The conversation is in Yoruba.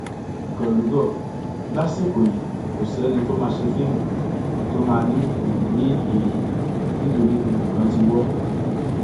gólùgò lásìkò yìí kò sẹni tó máa ṣe fíìmù tó máa ní òun rí èrè nítorí gbogbo nǹkan ti wọ